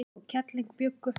kall og kelling bjuggu